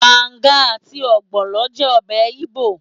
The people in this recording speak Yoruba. Banga àti ogbono jẹ́ ọbẹ̀ igbo.